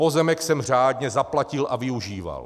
Pozemek jsem řádně zaplatil a využíval.